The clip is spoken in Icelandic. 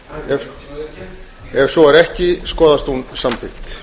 ef svo er ekki skoðast hún samþykkt